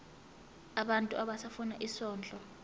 abantu abafuna isondlo